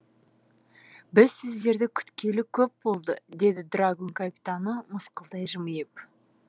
біз сіздерді күткелі көп болды деді драгун капитаны мысқылдай жымиып